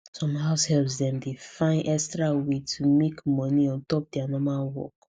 some househelps dem dey find extra way to take make moni ontop dia normal work